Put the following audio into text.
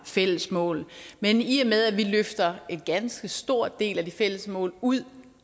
fælles mål men i og med at vi løfter en ganske stor del af de fælles mål ud